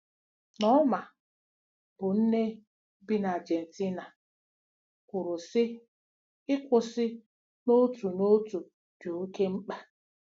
Norma, bụ́ nne bi n'Ajentina, kwuru, sị: “Ịkwụsị n'otu n'otu dị oké mkpa.